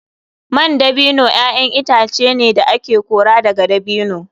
Man dabino ‘ya’yan itace ne da ake kora daga dabino.